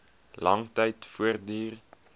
lang tyd voortduur